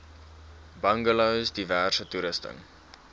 bungalows diverse toerusting